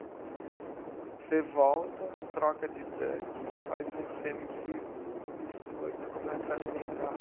Você volta, troca de tanque, faz um semicírculo e Stuart começa a alimentar.